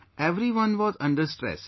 Everyone was under stress